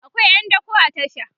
akwai ƴan dako a tasha